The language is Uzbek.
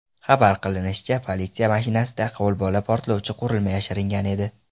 Xabar qilinishicha, politsiya mashinasida qo‘lbola portlovchi qurilma yashiringan edi.